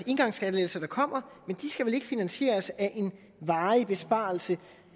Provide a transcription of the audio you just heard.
engangsskattelettelser der kommer men de skal vel ikke finansieres af en varig besparelse